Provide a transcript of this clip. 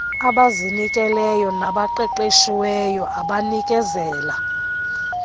abazinikeleyo nabaqeqeshiweyo abanikezela